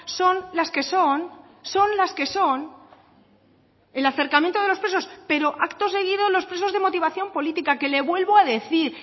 son las que son son las que son el acercamiento de los presos pero acto seguido los presos de motivación política que le vuelvo a decir